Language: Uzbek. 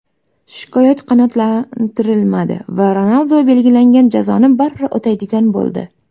Shikoyat qanoatlantirilmadi va Ronaldu belgilangan jazoni baribir o‘taydigan bo‘ldi.